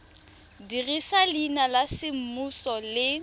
dirisa leina la semmuso le